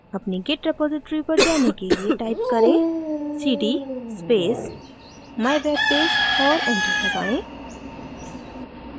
अपनी git repository पर जाने के लिए type करें cd space mywebpage और enter दबाएँ